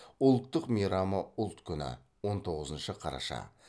ұлттық мейрамы ұлт күні он тоғызыншы қараша